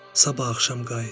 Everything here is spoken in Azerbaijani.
Sabah axşam qayıt.